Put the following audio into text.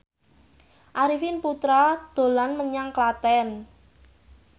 Arifin Putra dolan menyang Klaten